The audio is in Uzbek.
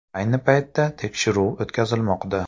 Ayni paytda tekshiruv o‘tkazilmoqda.